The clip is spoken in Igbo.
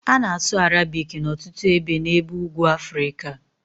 A na-asụ Arabic n'ọtụtụ ebe n'ebe ugwu Afrịka